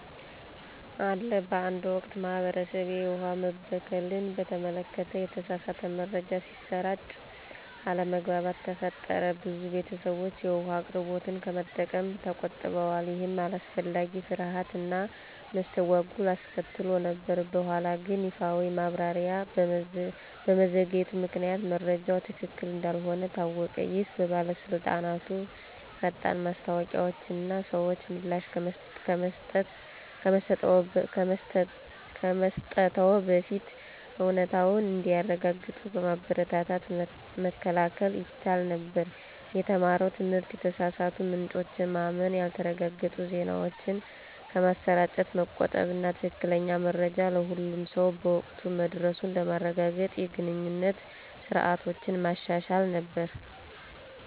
አለ በአንድ ወቅት፣ በማህበረሰቤ፣ የውሃ መበከልን በተመለከተ የተሳሳተ መረጃ ሲሰራጭ አለመግባባት ተፈጠረ። ብዙ ቤተሰቦች የውሃ አቅርቦቱን ከመጠቀም ተቆጥበዋል, ይህም አላስፈላጊ ፍርሃት እና መስተጓጎል አስከትሎ ነበር። በኋላግን ይፋዊ ማብራሪያ በመዘግየቱ ምክንያት መረጃው ትክክል እንዳልሆነ ታወቀ። ይህ በባለስልጣናት ፈጣን ማስታወቂያዎች እና ሰዎች ምላሽ ከመስጠትዎ በፊት እውነታውን እንዲያረጋግጡ በማበረታታት መከላከል ይቻል ነበር። የተማረው ትምህርት የተሳሳቱ ምንጮችን ማመን፣ ያልተረጋገጡ ዜናዎችን ከማሰራጨት መቆጠብ እና ትክክለኛ መረጃ ለሁሉም ሰው በወቅቱ መድረሱን ለማረጋገጥ የግንኙነት ስርዓቶችን ማሻሻል ነበር።